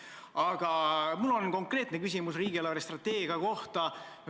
Aga mul on konkreetne küsimus riigi eelarvestrateegia kohta.